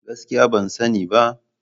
Gaskiya ban sani ba.